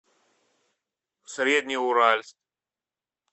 среднеуральск